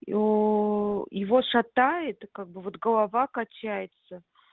и о его шатает и как бы вот голова качается